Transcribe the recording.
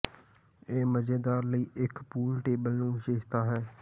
ਇਹ ਮਜ਼ੇਦਾਰ ਲਈ ਇੱਕ ਪੂਲ ਟੇਬਲ ਨੂੰ ਵਿਸ਼ੇਸ਼ਤਾ ਹੈ